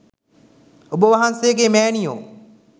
ඔබ වහන්සේගේ මෑණියො